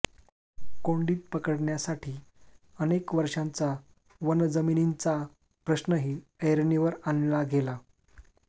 कोंडीत पकडण्यासाठी अनेक वर्षांचा वन जमिनींचा प्रश्नही ऐरणीवर आणला गेला